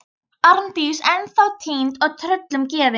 Arndís ennþá týnd og tröllum gefin.